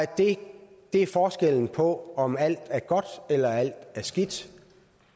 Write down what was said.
det er forskellen på om alt er godt eller alt er skidt